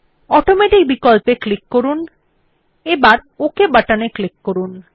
automatic বিকল্পে click করুন এবার ওক বাটনে ক্লিক করুন